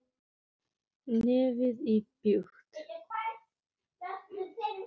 Nefið íbjúgt.